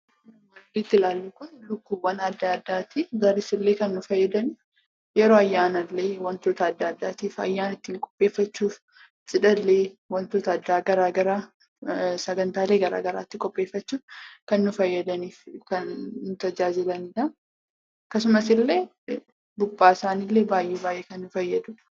Kan asitti ilaallu kun lukkuulee adda addaati. Isaanis kan nu fayyadan yeroo ayyaana adda addaatiif ayyaana ittiin qopheeffachuuf, cidhallee wantoota adda addaatiif sagantaalee garaagaraa ittiin qopheeffachuuf kan nu fayyadaniif kan nu tajaajilanidha. Akkasumas illee buphaan isaanii kan baay'ee nu fayyaduudha.